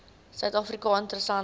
suid afrika interessante